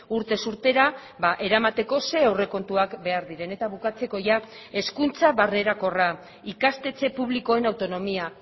urtez urtera eramateko zein aurrekontuan behar diren eta bukatzeko ia hezkuntza barnerakorra ikastetxe publikoen autonomia